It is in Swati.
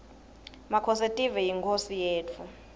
makhosetive yinkhosi yetfu